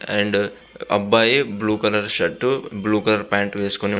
and అబ్బాయి blue colour shirt blue colour pant వేసుకొని ఉన్న --